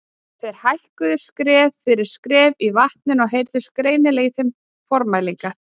Þeir hækkuðu skref fyrir skref í vatninu og heyrðust greinilega í þeim formælingarnar.